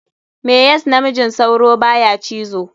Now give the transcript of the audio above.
Me yas namijin sauro baya cizo?